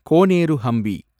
Koneru Hampi